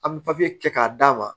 An bɛ papiye kɛ k'a d'a ma